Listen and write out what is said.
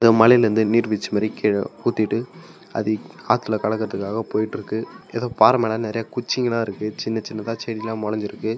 இந்த மலையிலிருந்து நீர்வீழ்ச்சி மாதிரி கீழ ஊத்திக்கிட்டு அது ஆத்துல கடக்கிறதுக்காக போயிட்டு இருக்கு. ஏதோ பார மேல நறைய குடிச்சிங்களா இருக்கு சின்ன சின்னதா செடிகள்ல்லாம் முளைஞ்சிருக்கு.